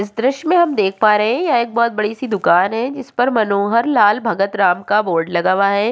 इस दृस्य में हम देख पा रहे हैं यह एक बहौत बड़ी सी दूकान है जिस पर मनोहर लाल भगत राम का बोर्ड लगा हुआ है।